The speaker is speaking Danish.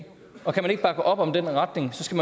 og kan man ikke bakke op om den retning skal